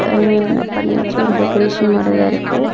பண்ணி வெச்சு ஒரு டெக்ரேஷன் மாறி தான் இருக்கு.